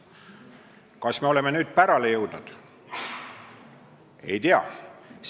Kas me oleme nüüd pärale jõudnud?